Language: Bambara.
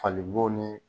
Fali bo ni